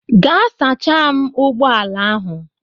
Gaa sachaa m ụgbọ ala ahụ.